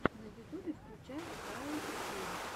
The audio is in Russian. на ютубе включай ваилд геймс